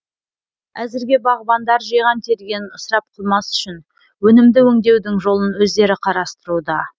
әзірге бағбандар жиған тергенін ысырап қылмас үшін өнімді өңдеудің жолын өздері қарастыруда